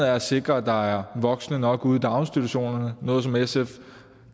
er at sikre at der er voksne nok ude i daginstitutionerne er noget som sf